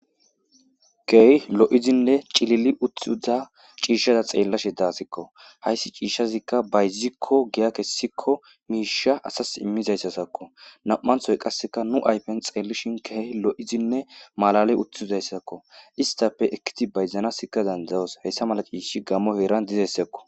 Kehi lo'izinne cilili utthuda ciishshaza xeellashe daasikko hayssi ciishshazikka bayzikko giya kessikko miisha asas immizayssasakko nam7anthoy qasseka nu aypen xeellishin key lo'izinne malale uthizayssakko istappe ekkiti bayzanasikka dandayos hayssa mala ciishi gammo heeran dizayssakko.